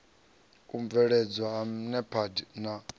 u mveledzwa ha nepad na